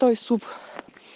той суп